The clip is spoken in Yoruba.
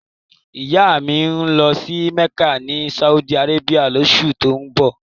Ìyá mi ń lọ sí Mẹ́kà ni Saudi Arabia lóṣù tó ń bọ̀